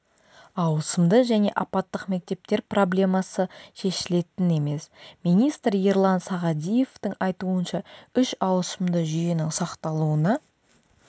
ауысымды және апаттық мектептер проблемасы шешілетін емес министр ерлан сағадиевтің айтуынша үш ауысымды жүйенің сақталуына